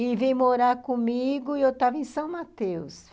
e veio morar comigo e eu estava em São Mateus.